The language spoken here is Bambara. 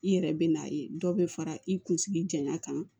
I yɛrɛ bɛ n'a ye dɔ bɛ fara i kunsigi janya kan